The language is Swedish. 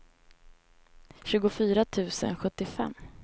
tjugofyra tusen sjuttiofem